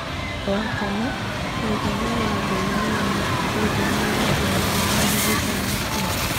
Wa kana, mũigana wa ngũrani wa ikundi nĩwathimirwo harĩ gĩthomo kĩu.